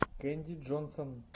кэнди джонсон